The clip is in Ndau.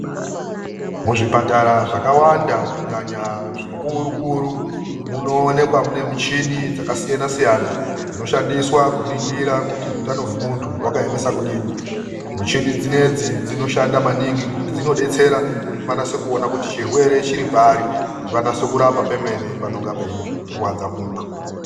Muzvipatara zvakawanda kunyanya zvikurukuru munoonekwa mune muchini dzakasiyanasiyana, dzinoshandiswa kuningira kuti utano hwemuntu hwakaemesa kudini. Muchini dzinedzi dzinoshanda maningi ngekuti dzinodetsera kuti vanase kuona kuti chirwere chiripari, kuti vanase kurapa pemene panonga peirwadza muntu.